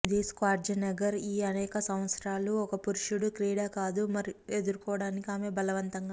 ఇది స్క్వార్జెనెగర్ ఈ అనేక సంవత్సరాలు ఒక పురుషుడు క్రీడ కాదు ఎదుర్కోవటానికి ఆమె బలవంతంగా